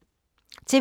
TV 2